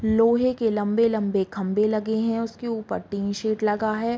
लोहे के लम्बे-लम्बे खम्बे लगे हैं उसके ऊपर टीन शैड लगा हैं।